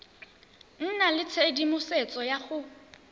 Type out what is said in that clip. nna le tshedimosetso ya go